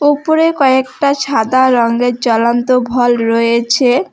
উপরে কয়েকটা সাদা রংয়ের জলন্ত ভল রয়েছে।